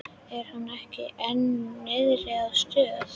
Er hann ekki enn niðri á stöð?